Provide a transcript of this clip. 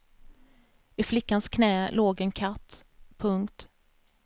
I flickans knä låg en katt. punkt